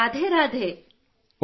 ಹಾಂ ರಾಧೇ ರಾಧೇ